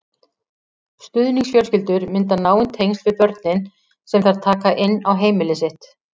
Stuðningsfjölskyldur mynda náin tengsl við börnin sem þær taka inn á heimili sitt.